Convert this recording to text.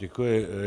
Děkuji.